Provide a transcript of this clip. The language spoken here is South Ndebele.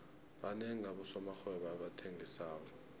banengi abosomarhwebo abathengisako